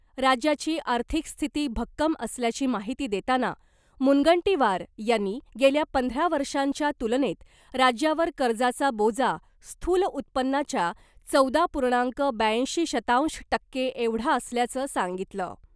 राज्याची आर्थिक स्थिती भक्कम असल्याची माहिती देताना , मुनगंटीवार यांनी , गेल्या पंधरा वर्षांच्या तुलनेत राज्यावर कर्जाचा बोजा स्थूल उत्पन्नाच्या चौदा पूर्णांक ब्याऐंशी शतांश टक्के एवढा असल्याचं सांगितलं .